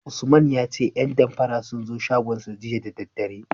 Usman ya ce 'yan damfara sun zo shagonsa jiya da daddare.